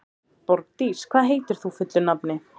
Borgdís, hvað heitir þú fullu nafni?